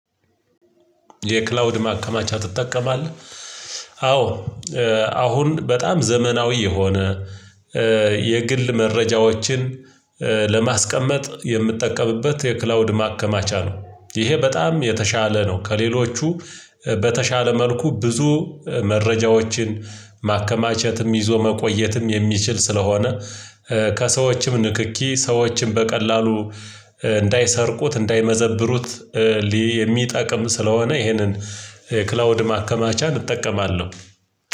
የክላውድ ማከማቻ ትጠቀማለህ? አዎ። አሁን በጣም ዘመናዊ የሆነ የግል መረጃዎችን ለማስቀመጥ የምትጠቀምበት የክላውድ ማከማቻ ነው። ይሄ በጣም የተሻለ ነው። ከሌሎቹ በተሻለ መልኩ ብዙ መረጃዎችን ማከማቸትም ይዞ መቆየትም የሚችል ስለሆነ። ከሰዎችም ንክኪ ሰዎችን በቀላሉ እንዳይሰርቁት እንዳይመዘብሩት የሚጠቅም ስለሆነ። ይሄንን ክላውድ ማከማቻ እጠቀማለሁ።